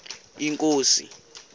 inkosi